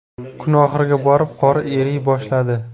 Kun oxiriga borib qor eriy boshladi.